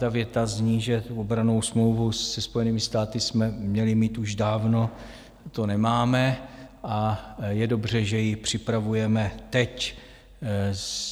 Ta věta zní, že obrannou smlouvu se Spojenými státy jsme měli mít už dávno, to nemáme, a je dobře, že ji připravujeme teď.